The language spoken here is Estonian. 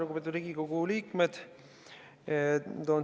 Lugupeetud Riigikogu liikmed!